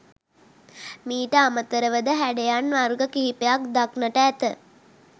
මීට අමතරව ද හැඩයන් වර්ග කිහිපයක් දක්නට ඇත.